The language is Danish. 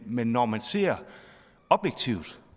men når man ser objektivt